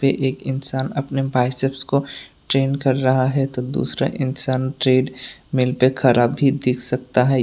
एक इंसान अपने बाइसेप्स को ट्रेन कर रहा है तो दूसरा इंसान ट्रेडमिल पे खड़ा भी दिख सकता है।